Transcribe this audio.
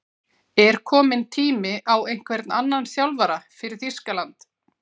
Er kominn tími á einhvern annan þjálfara fyrir Þýskaland?